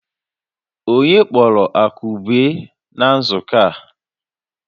Onye kpọrọ Akụbue na nzukọ a?